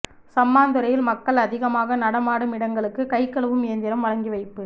சம்மாந்துறையில் மக்கள் அதிகமாக நடமாடும் இடங்களுக்கு கை கழுவும் இயந்திரம் வழங்கி வைப்பு